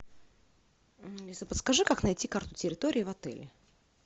алиса подскажи как найти карту территории в отеле